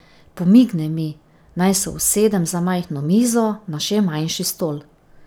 Pomigne mi, naj se usedem za majhno mizo na še manjši stol.